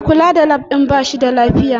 Mai kula da Lab din ba shi da lafiya